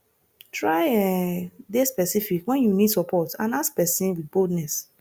try um de specific when you need support and ask persin with boldness